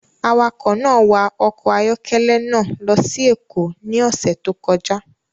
Awakọ̀ náà wa ọkọ̀ ayọ́kẹ́lẹ́ náà lọ sí Èkó ní ọ̀sẹ̀ tó kọjá